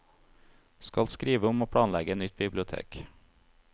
Skal skrive om å planlegge nytt bibliotek.